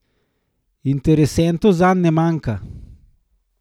Interesentov zanj ne manjka.